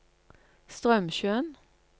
Straumsjøen